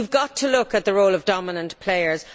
We have got to look at the role of dominant players.